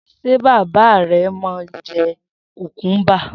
S̩e bàbá re̩ máa ń je̩ kùkúmbà?